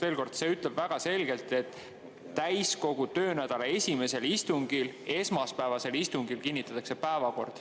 Veel kord: see ütleb väga selgelt, et täiskogu töönädala esimesel istungil, esmaspäevasel istungil kinnitatakse päevakord.